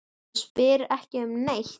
Hann spyr ekki um neitt.